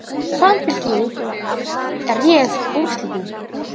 Samfylking réð úrslitum